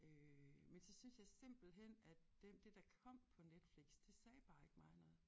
Øh men så syntes jeg simpelthen at den det der kom på Netflix det sagde bare ikke mig noget